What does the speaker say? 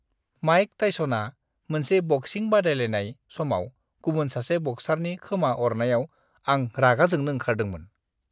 Mic टाइस'ना मोनसे बक्सिं बादायलायनाय समाव गुबुन सासे बक्सारनि खोमा अरनायाव आं रागा जोंनो ओंखारदोंमोन।